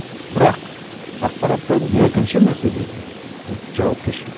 бірақ ақпараттан екінші мәселе ол жауапкершілік